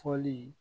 Fɔli